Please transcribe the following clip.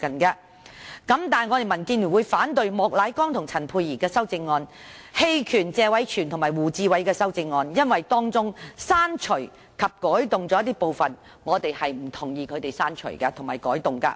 但是，民建聯會反對莫乃光議員和陳沛然議員的修正案，並就謝偉銓議員和胡志偉議員的修正案投棄權票，因為當中的刪除及改動，我們是不同意的。